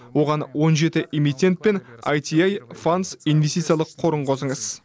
оған он жеті эмитент пен аити фандс инвестициялық қорын қосыңыз